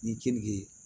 Ni keninge